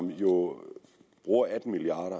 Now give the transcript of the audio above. vi jo bruger atten milliard